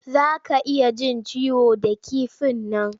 Za ka iya jin ciwo da kifin nan.